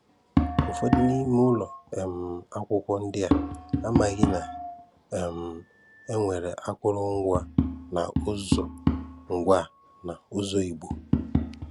Ụfọdụ n'ime ụlọ um akwụkwọ ndị a amaghị na um e nwere akọrọ ngwa na ụzọ ngwa na ụzọ Igbo